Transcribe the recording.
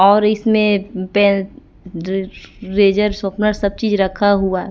और इसमें पे रे रेजर सापनर सब चीज रखा हुआ--